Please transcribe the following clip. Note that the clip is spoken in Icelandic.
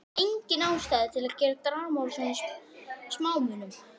Engin ástæða til að gera drama úr svona smámunum.